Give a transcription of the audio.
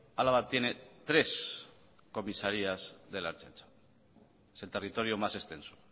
álava tiene tres comisarías de la ertzaintza es el territorio más extenso